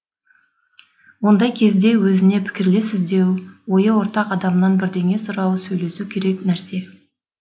ондай кезде өзіне пікірлес іздеу ойы ортақ адамнан бірдеңе сұрап сөйлесу керек нәрсе